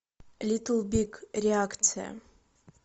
литл биг реакция